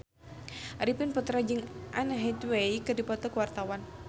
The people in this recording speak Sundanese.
Arifin Putra jeung Anne Hathaway keur dipoto ku wartawan